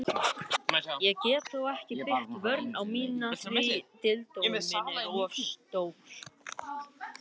Ég get þó ekki byggt vörn mína á því.